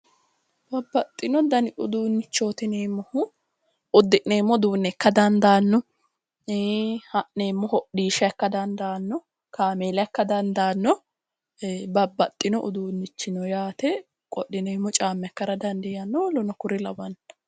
Babbaxino Dani uduunnichooti yineemmohu udi'neemmo uduunne ikkara dandaanno Ii ha'neemmona hodhishsha ika dandaanno kameella ika dandaanno babbaxino uduunne ika dandaanno yaate wodhineemmo caamma ika dandaanno